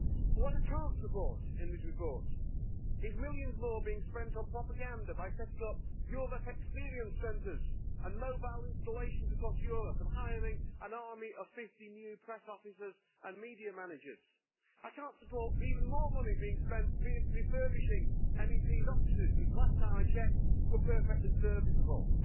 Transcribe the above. But what I can't support in this report is millions more being spent on propaganda by setting up Europe experience centres and mobile installations across Europe and hiring an army of 50 new press officers and media managers. I can't support even more money being spent refurbishing MEP's offices, which, last time I checked, were perfectly serviceable.